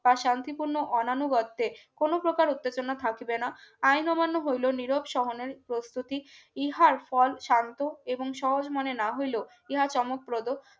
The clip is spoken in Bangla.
বাস শান্তিপূর্ণ অনানু বর্তে কোন প্রকার উত্তেজনা থাকবে না আইন অমান্য হইল নীরব সহানের প্রস্তুতি ইহার ফল শান্ত এবং সহজ মনে না হইলেও ইহা চমকপ্রদক